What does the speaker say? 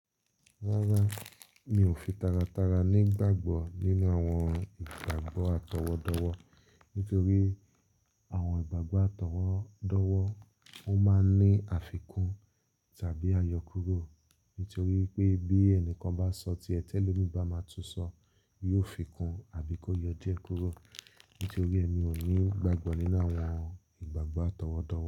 Rárá, mi ò fi tara tara nígbàgbọ́ nínú àwọn ìgbàgbọ́ àtọwọdọwọ́, nítorí àwọn ìgbàgbọ́ àtọwọdọwọ́ ó máa ń ní àfikún tàbí ayọkúrò. Nítorí pé bí ẹnìkan bá sọ tíẹ́ ti elọmìí bá máa tú sọ, yóò fi kún àbí kó yọ díẹ̀ kúrò. Nítorí ẹ mi ò ní ìgbàgbọ́ nínú àwọn ìgbàgbọ́ àtọwọdọ.